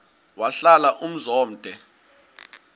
wahlala umzum omde